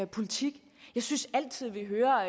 politik jeg synes altid vi hører